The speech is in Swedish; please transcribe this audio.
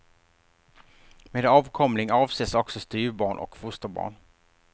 Med avkomling avses också styvbarn och fosterbarn.